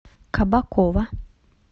кабакова